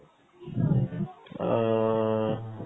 অ